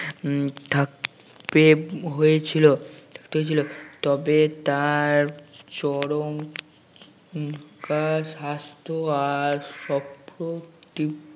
উম থাকতে হয়েছিল থাকতে হয়েছিল তবে তবে তার চরম কার হাসতো আর সপ্রতিভ